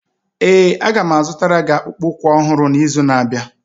Ee, m ga-azụtara gị akpụkpọ ụkwụ ọhụrụ n'izu na-abịa.